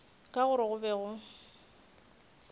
ka gore go be go